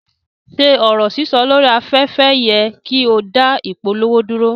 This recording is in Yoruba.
Ṣe ọrọ sísọ lori afẹ́fẹ́ yẹ ki o da ìpolówó dúró?